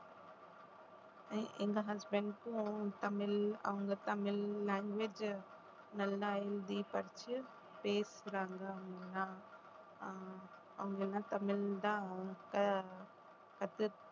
எங்க husband க்கும் தமிழ் அவங்க தமிழ் language நல்லா எழுதி படிச்சு பேசுறாங்க அவங்கெல்லாம் ஆஹ் அவங்கெல்லாம் தமிழ்தான் அவங்க கத்து~